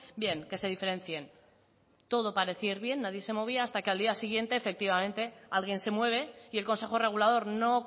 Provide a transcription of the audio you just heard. bien que se diferencien todo parecía ir bien nadie se movía hasta que al día siguiente efectivamente alguien se mueve y el consejo regulador no